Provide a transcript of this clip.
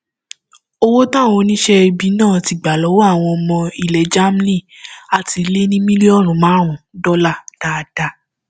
owó táwọn oníṣẹ ibi náà ti gbà lọwọ àwọn ọmọ ilẹ germany àá ti lé ní mílíọnù márùnún dọlà dáadáa